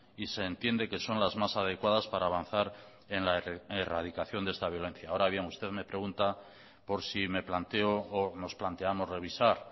y se entiende que son las más adecuadas para avanzar en la erradicación de esta violencia ahora bien usted me pregunta por si me planteo o nos planteamos revisar